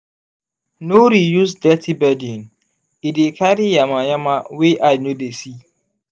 no resuse dirty bedding e dey carry yama-yama wey eye no dey see.